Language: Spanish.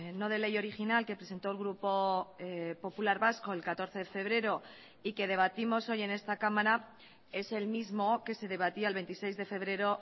no de ley original que presentó el grupo popular vasco el catorce de febrero y que debatimos hoy en esta cámara es el mismo que se debatía el veintiséis de febrero